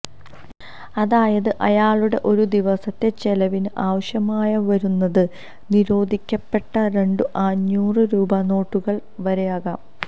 അതായത് അയാളുടെ ഒരു ദിവസത്തെ ചെലവിന് ആവശ്യമായി വരുന്നത് നിരോധിക്കപ്പെട്ട രണ്ടു അഞ്ഞൂറ് രൂപാ നോട്ടുകൾ വരെയാകാം